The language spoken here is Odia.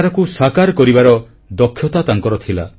ବିଚାରକୁ ସାକାର କରିବାର ଦକ୍ଷତା ତାଙ୍କର ଥିଲା